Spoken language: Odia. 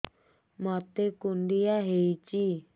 ମୋତେ କୁଣ୍ଡିଆ ହେଇଚି